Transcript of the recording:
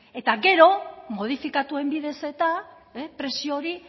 eta gero modifikatuen bidez eta prezio hori